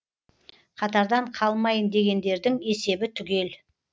қатардан қалмайын дегендердің есебі түгел